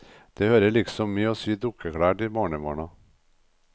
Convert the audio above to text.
Det hører liksom med å sy dukkeklær til barnebarna.